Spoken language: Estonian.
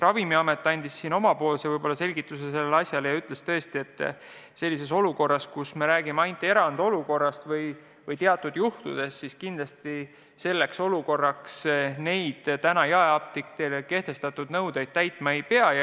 Ravimiamet andis vastuseks omapoolse selgituse, öeldes, et kui me räägime ainult erandolukorrast või teatud juhtudest, siis kindlasti selles olukorras jaeapteekidele kehtestatud nõudeid täitma ei pea.